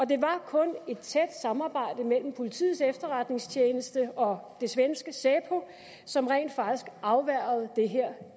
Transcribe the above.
det var kun et tæt samarbejde mellem politiets efterretningstjeneste og det svenske säpo som rent faktisk afværgede det her